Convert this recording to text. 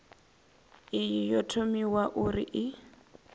iyi yo thomiwa uri i